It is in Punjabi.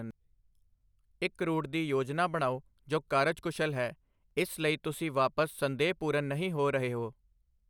ਇੱਕ ਰੂਟ ਦੀ ਯੋਜਨਾ ਬਣਾਓ ਜੋ ਕਾਰਜਕੁਸ਼ਲ ਹੈ, ਇਸ ਲਈ ਤੁਸੀਂ ਵਾਪਸ ਸੰਦੇਹਪੂਰਨ ਨਹੀਂ ਹੋ ਰਹੇ ਹੋ।